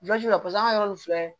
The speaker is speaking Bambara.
la paseke an ka yɔrɔ nin filɛ